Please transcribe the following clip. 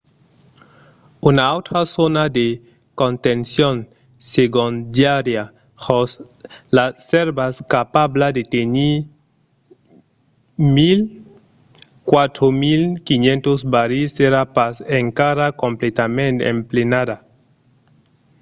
una autra zòna de contencion segondària jos las sèrvas capabla de tenir 104.500 barrils èra pas encara completament emplenada